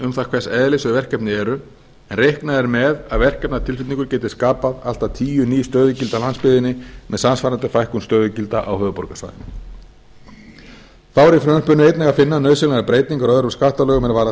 um það hvers eðlis þau verkefni eru en reiknað er með að verkefnatilflutningur geti skapa allt að tíu ný stöðugildi á landsbyggðinni með samsvarandi fækkun stöðugilda á höfuðborgarsvæðinu þá er í frumvarpinu einnig að finna nauðsynlegar breytingar á öðrum skattalögum er varða